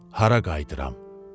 Hara qayıdıram?